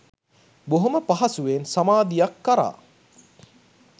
බොහොම පහසුවෙන් සමාධියක් කරා